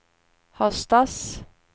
höstas